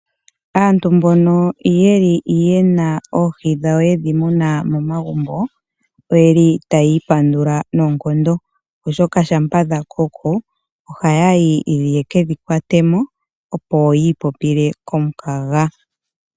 Aantu mbono yeli yena oohi dhawo yedhi muna momagumbo, oyeli taya i pandula noonkondo oshoka shampa dha koko ohaya yi yekedhi kwate mo opo yii popile komukaga.